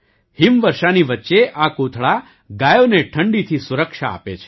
હિમવર્ષાની વચ્ચે આ કોથળા ગાયોને ઠંડીથી સુરક્ષા આપે છે